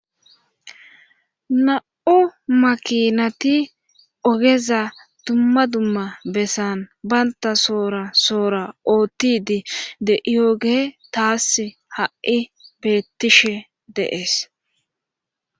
Namu'u makinati ogeza dumma dumma bessan baynta soora soora oottidi deioge taas ha'i beettishe deees.